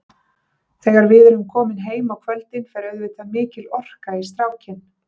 Þegar við erum komin heim á kvöldin fer auðvitað mikil orka í strákinn.